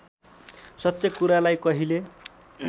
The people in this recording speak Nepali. सत्य कुरालाई कहिले